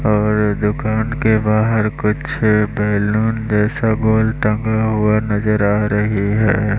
और दुकान के बाहर कुछ बैलून जैसा गोल टंगा हुआ नजर आ रही है।